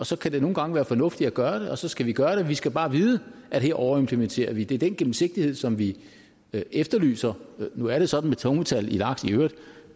så kan det nogle gange være fornuftigt at gøre det og så skal vi gøre det vi skal bare vide at her overimplementerer vi det er den gennemsigtighed som vi efterlyser nu er det sådan med tungmetal i laks i øvrigt